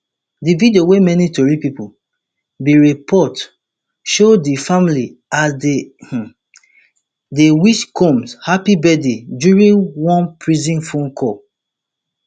di video wey many tori pipo bin report show di family as dey um dey wish combs happy birthday during one prison phone call